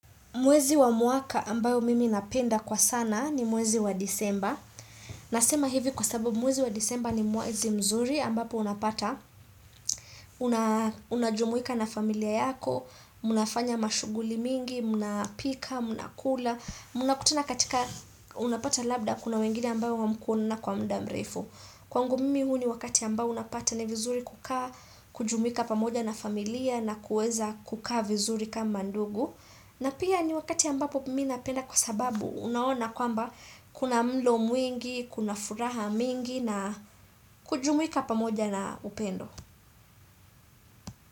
Mwezi wa mwaka ambayo mimi napenda kwa sana ni mwezi wa disemba. Nasema hivi kwa sababu mwezi wa disemba ni mwezi mzuri ambapo unapata. Unajumuika na familia yako, mnafanya mashuguli mingi, mnapika, mnakula. Mnakutana katika unapata labda kuna wengine ambayo hamkuonana kwa muda mrefu. Kwangu mimi huu ni wakati ambayo unapata ni vizuri kukaa, kujumika pamoja na familia na kuweza kukaa vizuri kama ndugu. Na pia ni wakati ambapo mimi napenda kwa sababu, unaona kwamba kuna mlo mwingi, kuna furaha mwingi na kujumuika pamoja na upendo.